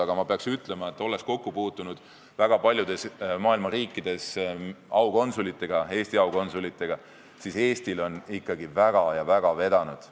Aga ma pean ütlema, olles Eesti aukonsulitega väga paljudes maailma riikides kokku puutunud, et Eestil on ikkagi väga ja väga vedanud.